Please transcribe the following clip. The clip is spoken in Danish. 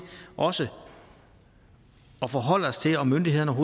også at forholde os til om myndighederne